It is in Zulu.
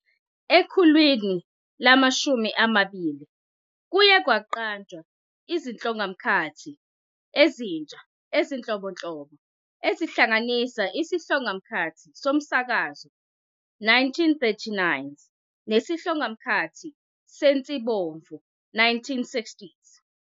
Ekhulwini lama-20, kuye kwaqanjwa izihlongamkhathi ezintsha ezinhlobonhlobo, ezihlanganisa isihlongamkhathi somsakazo, 1939's, nesihlongamkhathi sensibomvu, 1960's.